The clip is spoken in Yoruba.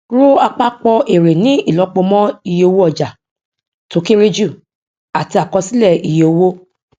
ro àpapọ èrè ní ìlọpo mọ iye owó ọjà tó kéré jù àti àkọsílẹ iye owó